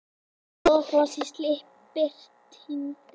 Goðafoss í slipp í birtingu